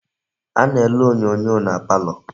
A na-ele onyoonyo na palo.